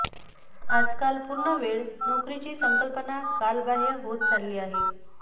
आजकाल पूर्ण वेळ नोकरीची संकल्पना कालबाह्य होत चालली आहे